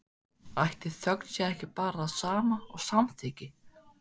Ætli þögn sé ekki bara það sama og samþykki?